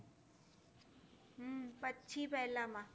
હમ પછી પહેલા માં.